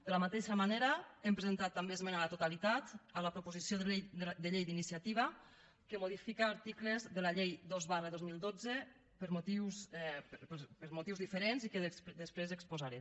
de la mateixa manera hem presentat també esmena a la totalitat a la proposició de llei d’iniciativa que modifica articles de la llei dos dos mil dotze per motius diferents i que després exposaré